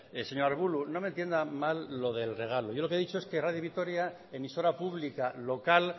señor arbulo no me entienda mal lo del regalo yo lo que he dicho es que radio vitoria emisora pública local